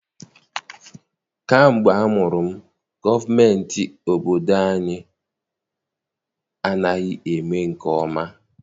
Kamgbe amụrụ m, gọọmentị obodo anyị anaghị eme nke ọma.